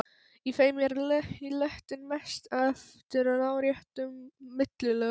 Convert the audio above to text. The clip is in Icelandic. Í þeim er lektin mest eftir láréttum millilögum.